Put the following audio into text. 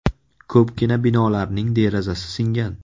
Ko‘pgina binolarning derazasi singan.